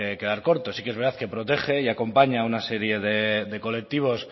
quedar corto sí que es verdad que protege y acompaña una serie de colectivos